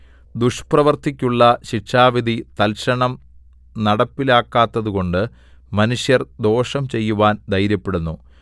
ദുഷ്പ്രവൃത്തിക്കുള്ള ശിക്ഷാവിധി തൽക്ഷണം നടപ്പിലാക്കാത്തതുകൊണ്ട് മനുഷ്യർ ദോഷം ചെയ്യുവാൻ ധൈര്യപ്പെടുന്നു